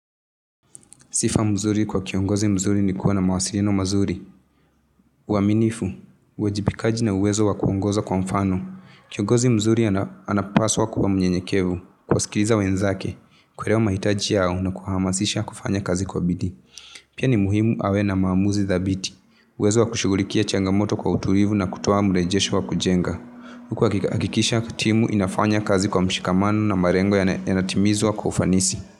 Sifa mzuri kwa kiongozi mzuri ni kuwa na mawasiliano mazuri. Waaminifu, wajibikaji na uwezo wa kuongoza kwa mfano. Kiongozi mzuri anapaswa kuwa mnyenyekevu, kuwaskiza wenzake. Kuelewa mahitaji yao na kuhamazisha kufanya kazi kwa bidii. Pia ni muhimu awe na maamuzi dhabiti. Uwezo wa kushughulikia changamoto kwa utulivu na kutoa mrejesho wa kujenga. Kuhakikisha timu inafanya kazi kwa mshikamano na malengo yanatimizwa kwa ufanisi.